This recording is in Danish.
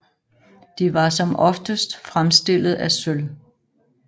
De var som oftest fremstillet af sølv